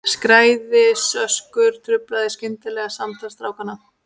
Skaðræðisöskur truflaði skyndilega samtal strákanna.